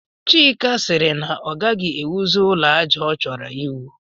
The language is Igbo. Chika sịrị na ọ gaghị ewuzi ụlọ àjà ọ chọrọ iwu